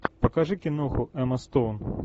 покажи киноху эмма стоун